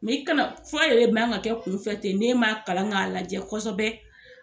i kana fura yɛrɛ man ka kɛ kunfɛ ten n'e man kalan k'a lajɛ kɔsɔbɛ